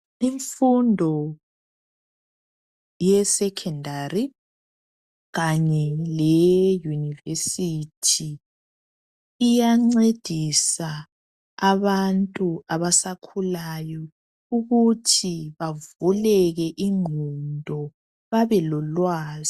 Infundo yeSecondary kanye leye Unirvesity iyancedisa abantu abasakhulayo ukuthi bavuleke ingqondo babe lolwazi.